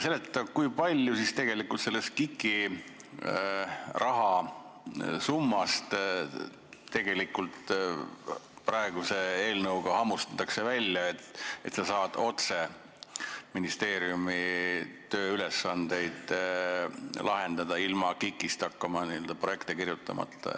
Seleta, kui palju siis tegelikult sellest KIK-i rahasummast praeguse eelnõuga välja hammustatakse, et saaks otse ministeeriumi tööülesandeid lahendada, ilma et peaks hakkama n-ö KIK-i projekte kirjutama.